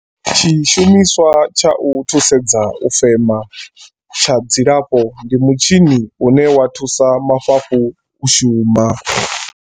Tshi shumiswa tsha u thusedza u fema tsha dzilafho ndi mutshini une wa thusa mafhafhu u shuma.